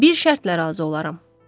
Bir şərtlə razı olaram.